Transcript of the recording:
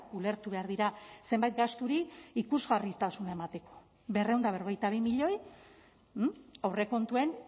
ulertu behar dira zenbait gasturi ikusgarritasuna emateko berrehun eta berrogeita bi milioi aurrekontuen